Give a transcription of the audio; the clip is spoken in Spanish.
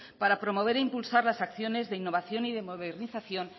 para promover e impulsar las acciones de innovación y modernización